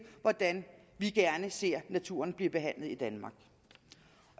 hvordan vi gerne ser naturen bliver behandlet i danmark